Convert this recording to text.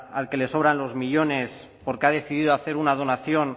al que le sobran los millónes porque ha decidido hacer una donación